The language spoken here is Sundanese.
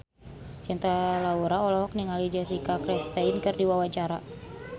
Cinta Laura olohok ningali Jessica Chastain keur diwawancara